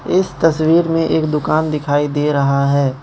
इस तस्वीर में एक दुकान दिखाई दे रहा है।